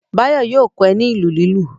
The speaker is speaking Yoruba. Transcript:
Báyọ̀ yóò kọ́ ẹ ní ìlù lílù.